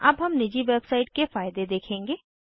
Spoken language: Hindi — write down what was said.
अब हम निजी वेबसइट के फायदे देखेंगे